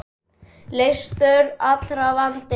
Leystur allra vandi.